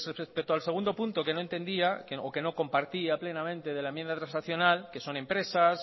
respecto al segundo punto que no entendía o que no compartía plenamente de la enmienda transaccional que son empresas